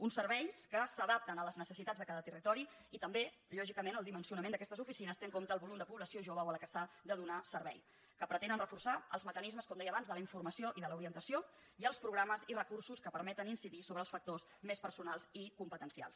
uns serveis que s’adapten a les necessitats de cada territori i també lògicament el dimensionament d’aquestes oficines té en compte el volum de població jove o a la qual s’ha de donar servei que pretenen reforçar els mecanismes com deia abans de la informació i de l’orientació i els programes i recursos que permeten incidir sobre els factors més personals i competencials